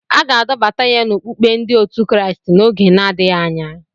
A ga-adọbata ya n'ọkpụkpụ ndi otu Kraịst n'oge na-adịghị anya.